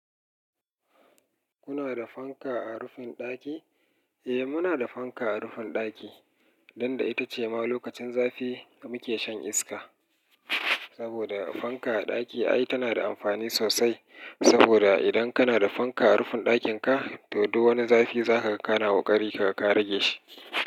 Kuna da fanka a rufin ɗaki? Eh muna da fanka a rufin ɗaki, dan da ita ce ma lokacin zafi muke shan iska. Saboda fanka a ɗaki ai tana da amfani sosai. Saboda idan kana da fanka a rufin ɗakin ka, to duk wani zafi za ka kana ƙoƙari kaga ka rage shi.